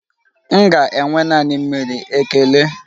M ga-enwe naanị mmiri, ekele.